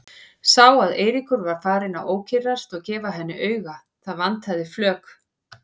Sá að Eiríkur var farinn að ókyrrast og gefa henni auga, það vantaði flök.